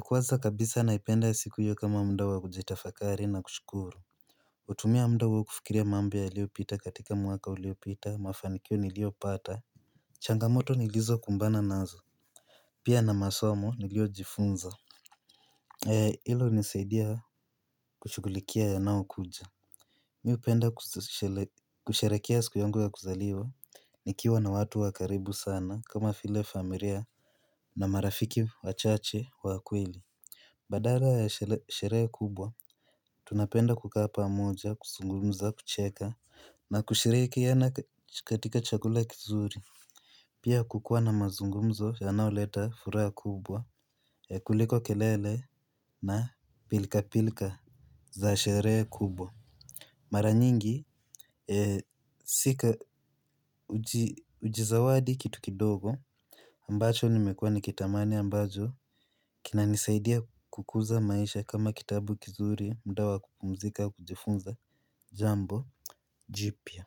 Kwanza kabisa naipenda siku hiyo kama muda wa kujitafakari na kushukuru. Hutumia muda huo kufikiria mambo yaliyopita katika mwaka uliopita mafanikio niliyopata. Changamoto nilizo kumbana nazo pia na masomo niliyojifunza. Hilo hunisaidia kushughulikia yanao kuja. Mi hupenda kusherehekea siku yangu ya kuzaliwa. Nikiwa na watu wa karibu sana kama vile familia na marafiki wachache wa kweli. Badala ya sherehe kubwa tunapenda kukaa pamoja, kuzungumza, kucheka na kushirikiana katika chakula kizuri. Pia kukuwa na mazungumzo yanayoleta furaha kubwa kuliko kelele na pilkapilka za sherehe kubwa. Mara nyingi hujizawadi kitu kidogo ambacho nimekuwa nikitamani ambacho kinanisaidia kukuza maisha kama kitabu kizuri muda wa kupumzika kujifunza jambo jipya.